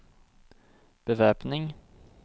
bevæpning